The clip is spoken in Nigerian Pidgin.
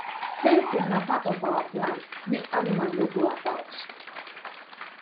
fencing na part of our plan make animal no go about